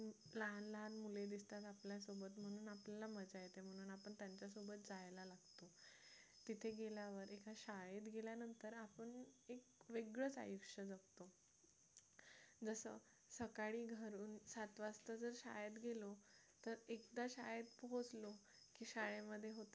तिथे गेल्यावर एका शाळेत गेल्यानंतर आपण एक वेगळंच आयुष्य जगतो जसं सकाळी घरून जात असता जर शाळेत गेलो तर एकदा काय शाळेत पोचलो की शाळेमध्ये होतात